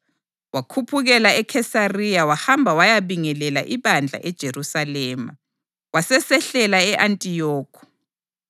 Wakhuphukela eKhesariya wahamba wayabingelela ibandla eJerusalema, wasesehlela e-Antiyokhi.